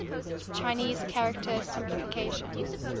chinese character simplification